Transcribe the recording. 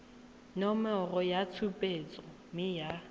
nomoro ya tshupetso mme ya